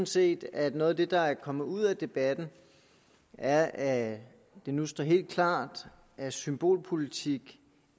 set at noget af det der er kommet ud af debatten er at det nu står helt klart at symbolpolitik